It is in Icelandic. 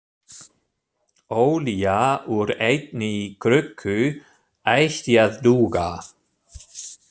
Olía úr einni krukku ætti að duga.